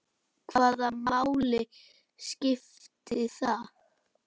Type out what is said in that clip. Hvaða máli skipti það?